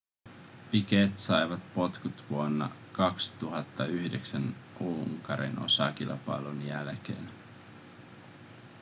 piquet sai potkut vuonna 2009 unkarin osakilpailun jälkeen